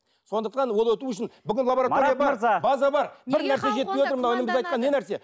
сондықтан ол өтуі үшін бүкіл база бар не нәрсе